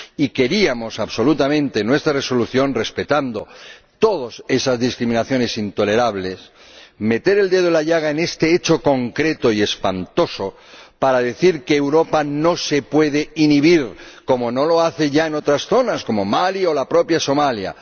Y queríamos absolutamente en nuestra Resolución, respetando todas esas discriminaciones intolerables, meter el dedo en la llaga en este hecho concreto y espantoso para decir que Europa no se puede inhibir, como no lo hace ya en otras zonas como Mali o la propia Somalia.